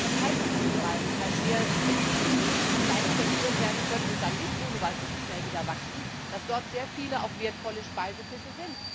Gerade in diesen Kaltwasserkorallen, die sehr empfindlich sind und leicht zerstört werden können und dann nicht ohne Weiteres so schnell wieder wachsen gibt es viele auch wertvolle Speisefische.